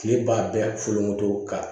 Kile b'a bɛɛ foloto ka